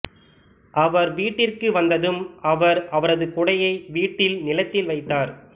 அவர் வீட்டிற்கு வந்ததும் அவர் அவரது குடையை வீட்டில் நிலத்தில் வைத்தார்